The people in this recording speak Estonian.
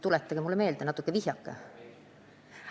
Tuletage mulle meelde, mis see oligi!